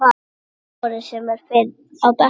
Eiður Smári sem fyrr á bekknum